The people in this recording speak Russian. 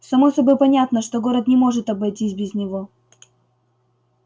само собой понятно что город не может обойтись без него